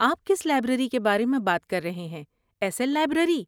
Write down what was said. آپ کس لائبریری کے بارے میں بات کر رہے ہیں، ایس ایل لائبریری؟